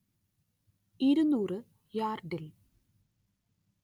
ഇരുനൂറ്‌ യാർഡിൽ